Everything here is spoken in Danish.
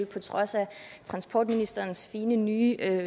på trods af transportministerens fine nye